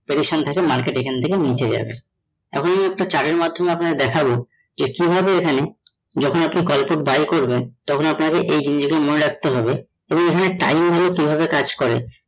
prediction থাকে market এখানে থেকে নিচে যাবে। এখন একটা chart এর মাধ্যমে আপনাদের দেখাবো যে কিভাবে এখানে যখন আপনি call put buy করবেন তখন আপনাকে এই জিনিস গুলো মনে রাখতে হবে এখানে time নিয়ে কিভাবে কাজ করে